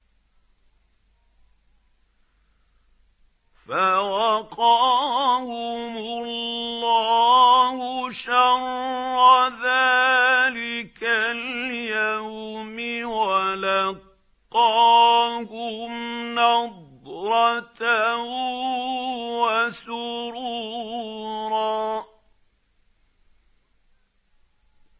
فَوَقَاهُمُ اللَّهُ شَرَّ ذَٰلِكَ الْيَوْمِ وَلَقَّاهُمْ نَضْرَةً وَسُرُورًا